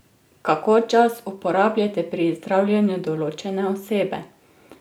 Kako čas uporabljate pri zdravljenju določene osebe?